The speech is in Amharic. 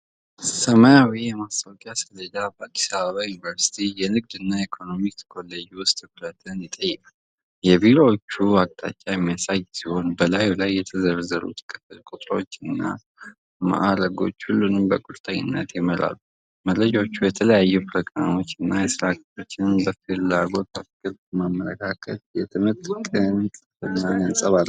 ሰማያዊ የማስታወቂያ ሰሌዳ በአዲስ አበባ ዩኒቨርሲቲ የንግድና ኢኮኖሚክስ ኮሌጅ ውስጥ ትኩረትን ይጠይቃል። የቢሮዎችን አቅጣጫ የሚያሳይ ሲሆን፣ በላዩ ላይ የተዘረዘሩት የክፍል ቁጥሮችና ማዕረጎች ሁሉንም በቁርጠኝነት ይመራሉ። መረጃዎቹ የተለያዩ ፕሮግራሞችን እና የስራ ክፍሎችን በፍላጎት ፍቅር በማመላከት የትምህርትን ቅ ልጥፍናንያንጸባርቃሉ።